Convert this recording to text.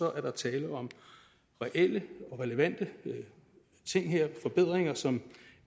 er der tale om reelle og relevante ting her forbedringer som